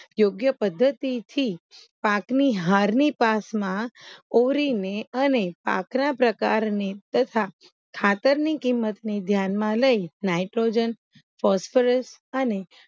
યોગ્ય પદ્ધતિ થી પાકની હારની પાસમાં ઓરીને અને આક્ર પ્રકારની તથા ખાતરની કિંમતને ધ્યાનમાં લઇ નાઈટ્રોજન ફોસ્ફરસ અને